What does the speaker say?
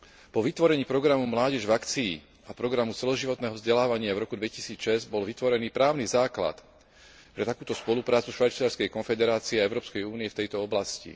Po vytvorení programu Mládež v akcii a programu celoživotného vzdelávania v roku 2006 bol vytvorený právny základ pre takúto spoluprácu Švajčiarskej konfederácie a Európskej únie v tejto oblasti.